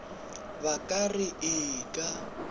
ba ka re ee ka